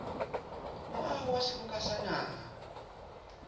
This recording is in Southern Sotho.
moaho wa seboka sa naha